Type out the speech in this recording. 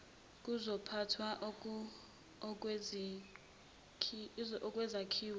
zokuphathwa kwezakhiwo yiminyango